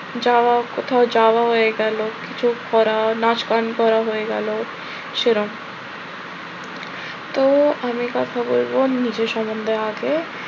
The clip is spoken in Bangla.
যাওয়া কোথাও যাওয়া হয়ে গেল, যোগ করা, নাচ গান করা হয়ে গেল, সেরম তো আমি কথা বলব নিজের সম্বন্ধে আগে।